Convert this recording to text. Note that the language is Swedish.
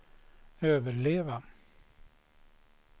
överleva